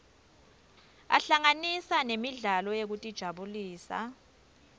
ahlanganisa nemidlalo yekutijabulisa